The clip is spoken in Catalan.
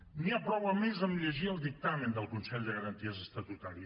n’hi ha prou a més amb llegir el dictamen del consell de garanties estatutàries